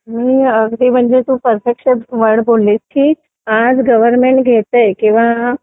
तू अगदी एक perfection word बोलली की आज गव्हर्मेंट घेताय किंवा